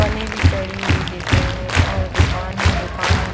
पन्नी भी चढ़ी हुई दिख रही हैं और दुकान है दुकानों--